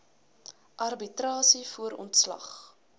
arbitrasie voor ontslag